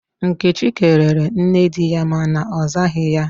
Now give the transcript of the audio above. Nkechi kelere nne di ya ma na ozaghi ya.